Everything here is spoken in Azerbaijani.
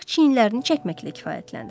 Ancaq çiyinlərini çəkməklə kifayətlənir.